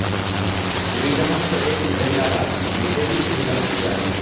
विधानसभेत महिला'राज', विजयी महिलांची यादी